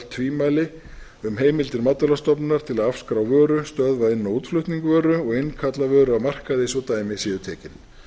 tvímæli um heimildir matvælastofnunar til að afskrá vöru stöðva inn og útflutning vöru og innkalla vöru af markaði svo dæmi séu tekin